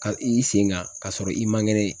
Ka i sen kan, k'a sɔrɔ i man ŋɛnɛ